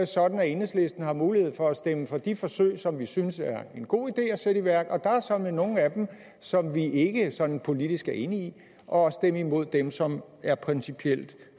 sådan at enhedslisten har mulighed for at stemme for de forsøg som vi synes er en god idé at sætte i værk og der er såmænd nogle af dem som vi ikke sådan politisk er enige i og stemme imod dem som er principielt